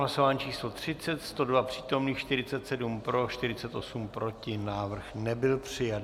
Hlasování číslo 30, 102 přítomných, 47 pro, 48 proti, návrh nebyl přijat.